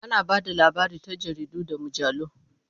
Ana ba da labari ta jaridu da mujallu.